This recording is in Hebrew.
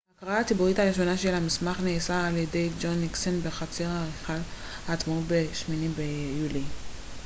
ההקראה הציבורית הראשונה של המסמך נעשתה על ידי ג'ון ניקסון בחצר היכל העצמאות ב-8 ביולי